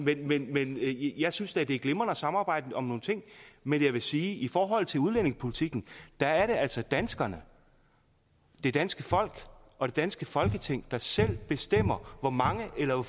væk jeg synes da at det er glimrende at samarbejde om nogle ting men jeg vil sige at i forhold til udlændingepolitikken er det altså danskerne det danske folk og det danske folketing der selv skal bestemme hvor mange eller